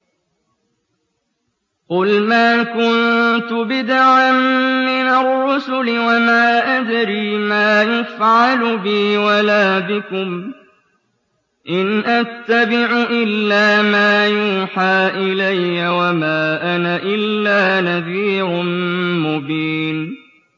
قُلْ مَا كُنتُ بِدْعًا مِّنَ الرُّسُلِ وَمَا أَدْرِي مَا يُفْعَلُ بِي وَلَا بِكُمْ ۖ إِنْ أَتَّبِعُ إِلَّا مَا يُوحَىٰ إِلَيَّ وَمَا أَنَا إِلَّا نَذِيرٌ مُّبِينٌ